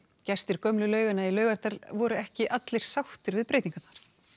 gestir gömlu lauganna í Laugardal voru ekki allir sáttir við breytingarnar